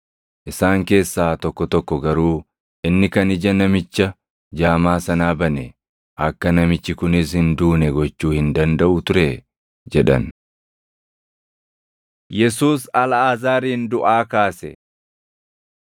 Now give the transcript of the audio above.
Isaan keessaa tokko tokko garuu, “Inni kan ija namicha jaamaa sanaa bane, akka namichi kunis hin duune gochuu hin dandaʼu turee?” jedhan. Yesuus Alʼaazaarin Duʼaa Kaase